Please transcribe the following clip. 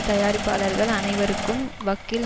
தயாரிப்பாளர்கள் அனைவருக்கும் வக்கீல்